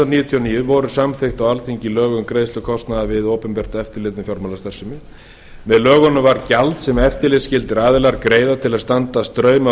og níu voru samþykkt á alþingi lög um greiðslu kostnaðar við opinbert eftirlit með fjármálastarfsemi með lögunum var gjald sem eftirlitsskyldir aðilar greina til að standa straum